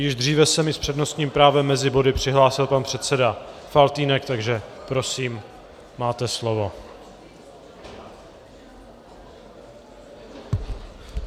Již dříve se mi s přednostním právem mezi body přihlásil pan předseda Faltýnek, takže prosím, máte slovo.